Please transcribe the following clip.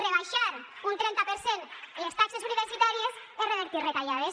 rebaixar un trenta per cent les taxes universitàries és revertir retallades